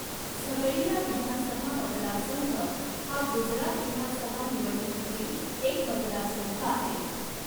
झघडिया विधानसभा मतदारसंघ हा गुजरात विधानसभा निवडणुकीतील एक मतदारसंघ आहे.